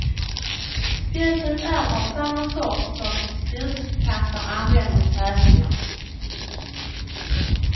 Spjutet är av samma sort som spjutkastare använder i tävlingar.